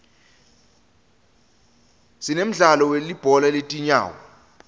sinemdlalo welibhola letinyawo